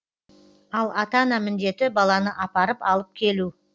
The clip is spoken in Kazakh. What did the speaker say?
ал ата ана міндеті баланы апарып алып келу